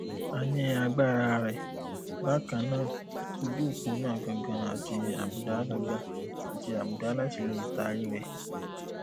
a ni agbara rẹ bakan naa ojuopo naa gangan ati abuda gangan ati abuda lati le taari rẹ